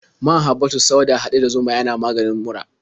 Man habbatus sauda haɗe da zuma yana maganin mura.